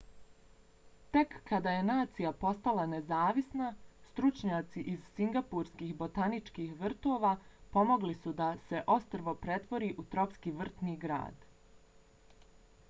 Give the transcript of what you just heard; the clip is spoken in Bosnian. tek kada je nacija postala nezavisna stručnjaci iz singapurskih botaničkih vrtova pomogli suda se ostrvo pretvori u tropski vrtni grad